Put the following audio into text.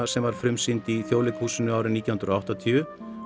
sem var frumsýnd í Þjóðleikhúsinu árið nítján hundruð og áttatíu